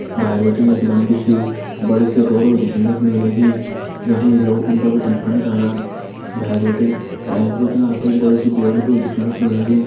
भैर बटिन एक लम्बी सी बड़ी सी रोड होल दिखेणक म लगी जखमा जि लोग उंडा बटिन फंड जाणान भैर बटिन अर एैंच बटिन आपथे एक बडू सी बोर्ड भी होलु दिखेणक मा लग्यूं।